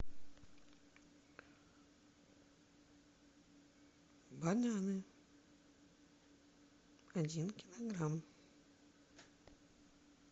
бананы один килограмм